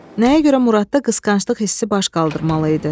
Nəyə görə Muradda qısqanclıq hissi baş qaldırmalı idi?